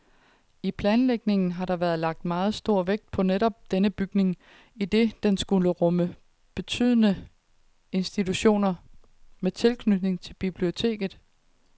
I planlægningen har der været lagt meget stor vægt netop på denne bygning, idet den skulle rumme betydende institutioner med tilknytning til biblioteket.